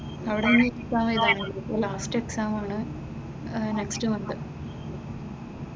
അവിടെയവിടെ exam എഴുതാമായിരുന്നു ഇപ്പോൾ last exam ആണ് അഹ് നെക്സ്റ്റ് മന്ത്.